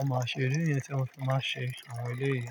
omáa ṣe ere yi tí o fi máa ṣe àwọn eléyìí.